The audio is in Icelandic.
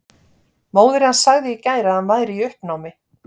Móðir hans sagði í gær að hann væri í uppnámi.